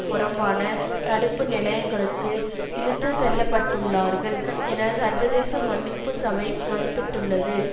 புறம்பான தடுப்பு நிலையங்களுக்கு இழுத்து செல்லப்பட்டுள்ளார்கள் என சர்வதேச மன்னிப்பு சபை மதிப்பிட்டுள்ளது